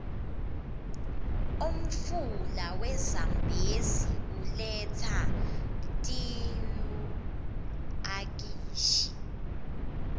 umfula we zambezi uletsa tiuakashi